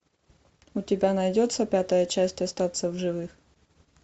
у тебя найдется пятая часть остаться в живых